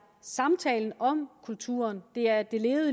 samtalen om kulturen og det er det